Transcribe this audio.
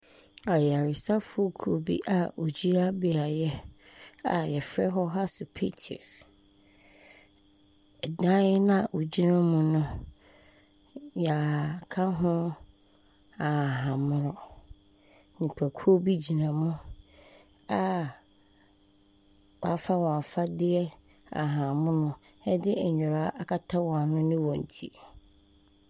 Ayaresafo kuw bi a wogyina beae a yɛfrɛ hɔ asopiti. Ɛdan na wogyina mu no, yɛaka ho ahahammono. Nnipakuw bi gyina mu a wafa wɔn afadeɛ ahahammono, ɛde ndura akata wɔn ano ne wɔn ti.